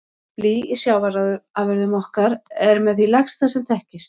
Blý í sjávarafurðum okkar er með því lægsta sem þekkist.